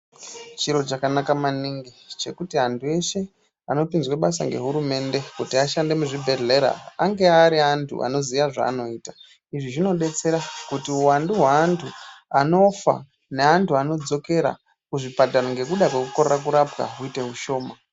Chiro chakanaka maningi chekuti antu eshe anopinzwe basa nge hurumende kuti ashande mu zvibhedhlera ange ari antu anoziye zvanoita izvi zvino detsera kuti hu wandu hwe antu anofa ne antu ano dzokera ku zvipatara ngekuda kweku korera kurapwa huite hushoma.